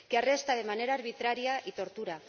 que arresta de manera arbitraria y tortura